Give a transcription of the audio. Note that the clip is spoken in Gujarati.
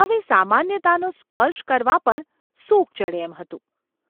હવે સામાન્યતાનો સ્પર્શ કરવા પણ સૂગ ચઢે એમ હતું.